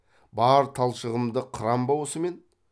бар талшығымды қырам ба осы мен